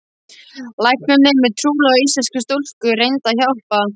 Læknanemi trúlofaður íslenskri stúlku reyndi að hjálpa.